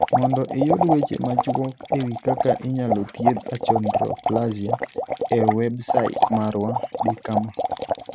Mondo iyud weche machuok e wi kaka inyalo thiedh achondroplasia e Websait marwa, di kama.